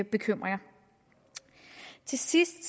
bekymringer til sidst